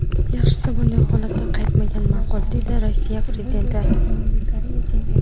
Yaxshisi, bunday holatga qaytmagan ma’qul”, dedi Rossiya prezidenti.